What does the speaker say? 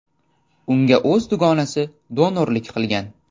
Unga o‘z dugonasi donorlik qilgan.